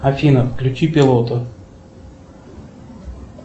афина включи пилота